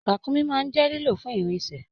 Ràkúnmí máa n jẹ lilọ fun irinṣẹ́.